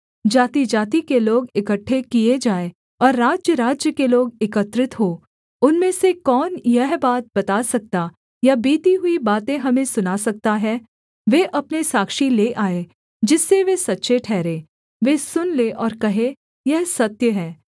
जातिजाति के लोग इकट्ठे किए जाएँ और राज्यराज्य के लोग एकत्रित हों उनमें से कौन यह बात बता सकता या बीती हुई बातें हमें सुना सकता है वे अपने साक्षी ले आएँ जिससे वे सच्चे ठहरें वे सुन लें और कहें यह सत्य है